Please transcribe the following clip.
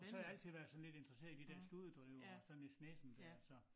Og så har jeg altid været sådan lidt interesseret i de dér studedrivere og så Nis Nissen dér så